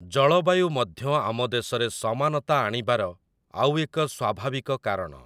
ଜଳବାୟୁ ମଧ୍ୟ ଆମ ଦେଶରେ ସମାନତା ଆଣିବାର ଆଉ ଏକ ସ୍ଵାଭାବିକ କାରଣ ।